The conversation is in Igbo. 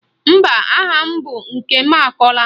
Mba, aha m bụ Nkemakọla